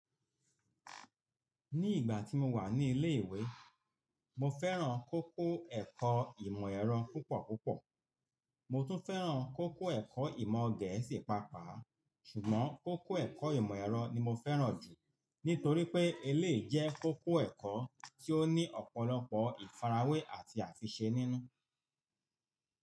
Ní ìgbà tí mo wà ní ilé ìwé, mo fẹ́ràn kókó ẹ̀kọ́ ìmọ̀ ẹ̀rọ púpọ̀ púpọ̀. Mo tún fẹ́ràn kókó ẹ̀kọ́ ìmọ̀ Gẹ̀ẹ́sì pàápàá, ṣùgbọ́n kókó ẹ̀kọ́ ìmọ̀ ẹ̀rọ ni mo fẹ́ràn jù nítorí pé eléyìí jẹ́ kókó ẹ̀kọ́ tí ó ní ọ̀pọ̀lọpọ̀ ìfarawé àti àtiṣe nínú.